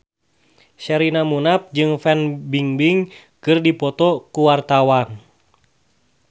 Sherina Munaf jeung Fan Bingbing keur dipoto ku wartawan